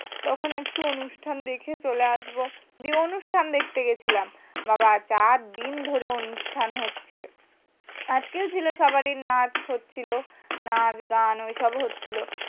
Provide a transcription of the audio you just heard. তখন একটু অনুষ্ঠান দেখে চলে আসবো। দিয়ে অনুষ্ঠান দেখতে গেছিলাম। বাবা চার দিন ধরে অনুষ্ঠান হচ্ছে। আজকেও ছিল সবারই নাচ হচ্ছিলো, নাচ গান ঐসব হচ্ছিলো।